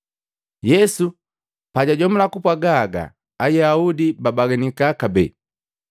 Yesu pajajomula kupwaga haga Ayaudi babaganika kabee.